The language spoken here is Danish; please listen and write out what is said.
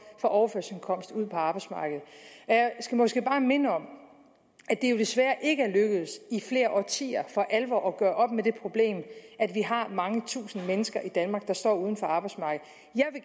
fra overførselsindkomst ud på arbejdsmarkedet jeg skal måske bare minde om at det jo desværre ikke er lykkedes i flere årtier for alvor at gøre op med det problem at vi har mange tusinde mennesker i danmark der står uden for arbejdsmarkedet